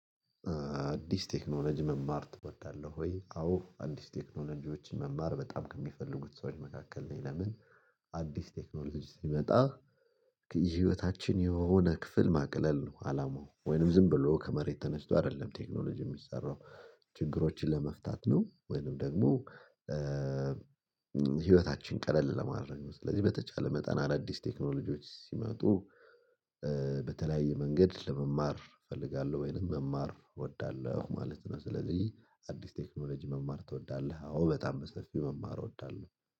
አዲስ ቴክኖሎጂ መማር ትወዳለህ ወይ? አዎ አዲስ ቴክኖሎጂዎች መማር በጣም ከሚፈልጉት ሰዎች መካከል ነኝ። ለምን አዲስ ቴክኖሎጂ ሲመጣ። ህይወታችን የሆነ ክፍል ማቅለል ነው አላማው ወይንም ዝም ብሎ ከመሬት ተነስቶ አይደለም ቴክኖሎጂ የሚሰራው ችግሮችን ለመፍታት ነው። ወይንም ደግሞ ህይወታችን ቀለል ለማድረግ ነው። ስለዚህ በተቻለ መጠን አዳዲስ ቴክኖሎጂዎች ሲመጡ። በተለያየ መንገድ ለመማር እፈልጋለሁ ወይንም መማር እወዳለሁ ማለት ነው። ስለዚህ አዲስ ቴክኖሎጂ መማር ትወዳለህ? አዎ በጣም በሰፊው መማር እወዳለሁ